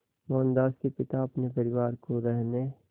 मोहनदास के पिता अपने परिवार को रहने